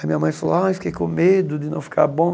Aí minha mãe falou, ah, eu fiquei com medo de não ficar bom.